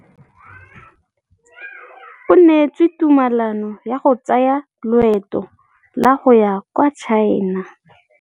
O neetswe tumalanô ya go tsaya loetô la go ya kwa China.